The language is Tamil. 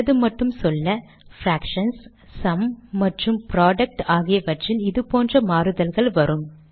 சிலது மட்டும் சொல்ல பிராக்ஷன்ஸ் சும் மற்றும் புரொடக்ட் ஆகியவற்றில் இது போன்ற மாறுதல்கள் வரும்